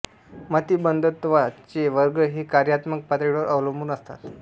मतिमंदत्वा चे वर्ग हे कार्यात्मक पातळीवर अवलबून असतात